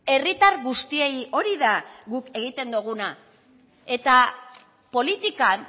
herritar guztiei hori da guk egiten duguna eta politikan